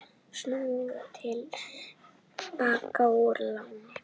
Snúa til baka úr láni